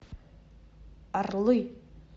орлы